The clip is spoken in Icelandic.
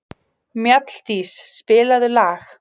Mjalldís, spilaðu lag.